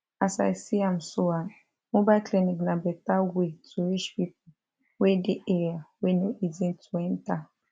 as i see am so um mobile clinic na better way to reach pipo wey dey area wey no easy to enta